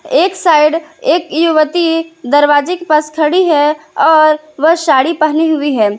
एक साइड एक युवती दरवाजे के पास खड़ी है और वह साड़ी पहनी हुई है।